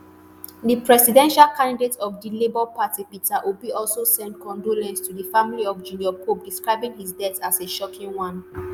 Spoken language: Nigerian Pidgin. di presidential candidate of di labour party peter obi also send condolence to di family of junior pope describing his death as a shocking one.